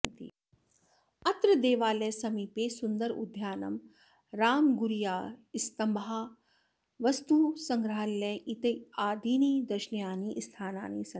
अत्र देवालयसमीपे सुन्दरोद्यानं रामगुरियास्तम्भाः वस्तुसङ्ग्रहालयः इत्यादीनि दर्शनीयानि स्थानानि सन्ति